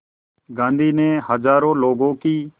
गांधी ने हज़ारों लोगों की